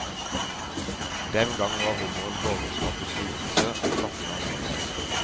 Den gang var hummeren borgerskapets nytelse og fattigmanns trøst.